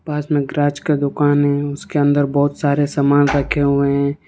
पास में गराज का दुकान है उसके अंदर बहुत सारे सामान रखे हुए हैं।